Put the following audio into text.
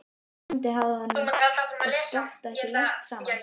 Vonandi hafði honum og Skafta ekki lent saman.